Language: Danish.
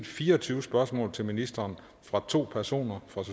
fire og tyve spørgsmål til ministeren fra to personer fra